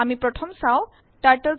আমি প্রথমে চাও TurtleScript